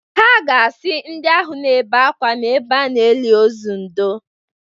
Ha ga-asị ndị ahụ na-ebe ákwá n’ebe a na-eli ozu ndoo